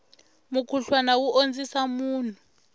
mukhuhlwana wu ondzisa munhu